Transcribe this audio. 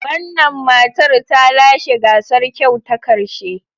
Wannan matar ta lashe gasar kyau ta karshe.